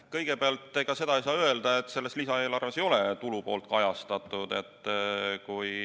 Kõigepealt, seda ei saa öelda, et lisaeelarves ei ole tulupoolt kajastatud.